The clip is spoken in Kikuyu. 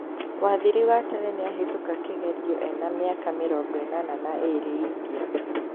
Wathiri wa tene nĩahitũka kĩgerio ena miaka mĩrongo ĩnana na ĩĩrĩ India